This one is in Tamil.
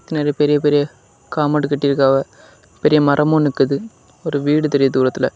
நெறைய பெரிய பெரிய காம்பவுண்ட் கட்டி இருக்காவ பெரிய மரமு நிக்குது ஒரு வீடு தெரியுது தூரத்துல.